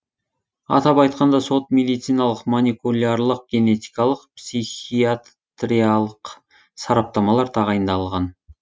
атап айтқанда сот медициналық моникулярлық генетикалық психиатриялық сараптамалар тағайындалған